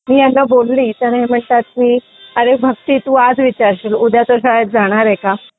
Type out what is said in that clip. मी ह्यांना बोलली तर हे म्हणतात की अरे भक्ती तू आज विचारशील उद्या तो शाळेत जाणार आहे का?